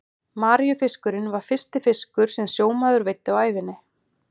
Maríufiskurinn var fyrsti fiskur sem sjómaður veiddi á ævinni.